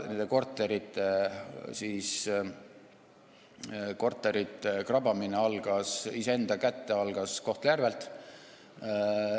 Nende korterite krabamine iseenda kätte algas Kohtla-Järvelt.